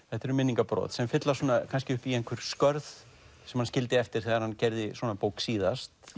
þetta eru minningabrot sem fylla kannski upp í einhver skörð sem hann skildi eftir þegar hann gerði svona bók síðast